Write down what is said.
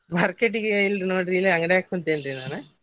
Market ಗೆ ಇಲ್ರಿ ನೋಡ್ರಿ ಇಲ್ಲೇ ಅಂಗಡ್ಯಾಗ್ ಕುಂತೇನ್ರೀ ನಾನ್.